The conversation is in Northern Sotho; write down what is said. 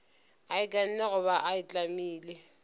a ikanne goba a itlamile